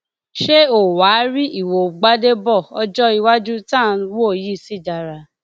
ṣé o wàá rí ìwo gbàdébò ọjọ iwájú tá à ń wò yìí ṣì dára